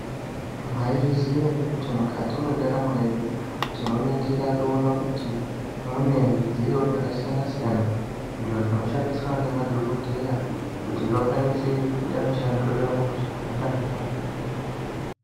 Mwaizviziya ere kuti mukati mwendaramo yedu tinoringira toona kuti mune zvidziyo zvakasiyana siyana izvo zvinoshandiswa ngemadhokodheya kuti vakwanise kuite mishando yavo zvakanaka.